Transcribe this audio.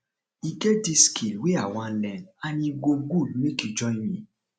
e get dis skill wey i wan learn and e go good make you join me